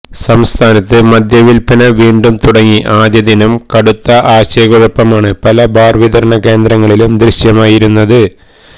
സംസ്ഥാനത്ത് മദ്യവിൽപ്പന വീണ്ടും തുടങ്ങി ആദ്യദിനം കടുത്ത ആശയക്കുഴപ്പമാണ് പല ബാർ വിതരണ കേന്ദ്രങ്ങളിലും ദൃശ്യമായിരുന്നത്